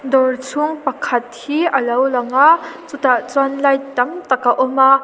dawr chhung pakhat hi alo lang a chutah chuan light tam tak a awm a.